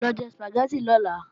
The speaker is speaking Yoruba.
Lọ jẹ Sùpàgẹ́tì lọ́la!